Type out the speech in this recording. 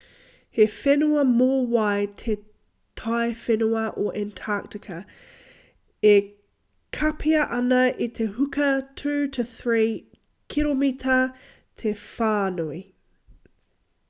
he whenua mōwai te taiwhenua o antarctica e kapia ana e te huka 2-3 kiromita te whānui